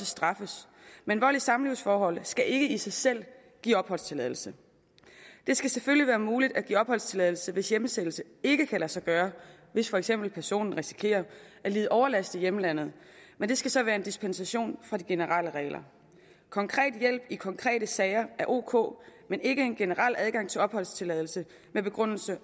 straffes men vold i samlivsforholdet skal ikke i sig selv give opholdstilladelse det skal selvfølgelig være muligt at give opholdstilladelse hvis hjemsendelse ikke kan lade sig gøre hvis for eksempel personen risikerer at lide overlast i hjemlandet men det skal så være en dispensation fra de generelle regler konkret hjælp i konkrete sager er ok men ikke en generel adgang til opholdstilladelse med begrundelse